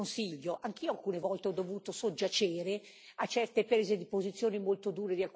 Anch'io alcune volte ho dovuto soggiacere a certe prese di posizione molto dure di alcuni Stati membri.